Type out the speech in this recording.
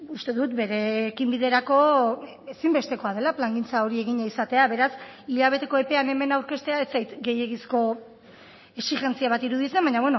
uste dut bere ekinbiderako ezinbestekoa dela plangintza hori egina izatea beraz hilabeteko epean hemen aurkeztea ez zait gehiegizko exijentzia bat iruditzen baina